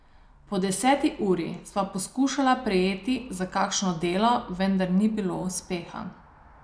Po deseti uri sva poskušala prijeti za kakšno delo vendar ni bilo uspeha.